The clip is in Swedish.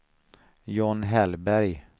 John Hellberg